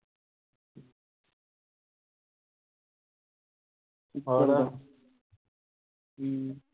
ਹਮ